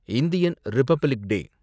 Indian republic day